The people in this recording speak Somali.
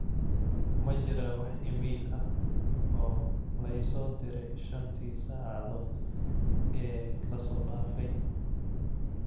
ma jiraa wax iimayl ah oo la i soo diray shantii saacadood ee la soo dhaafay